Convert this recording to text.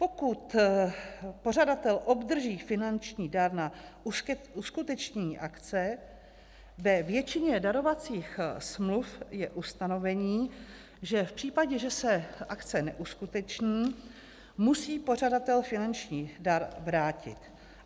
Pokud pořadatel obdrží finanční dar na uskutečnění akce, ve většině darovacích smluv je ustanovení, že v případě, že se akce neuskuteční, musí pořadatel finanční dar vrátit.